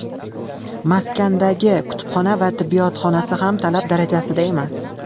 Maskandagi kutubxona va tibbiyot xonasi ham talab darajasida emas.